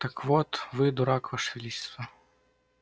так вот вы дурак ваше величество